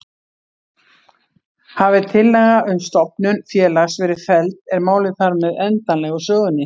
Hafi tillaga um stofnun félags verið felld er málið þar með endanlega úr sögunni.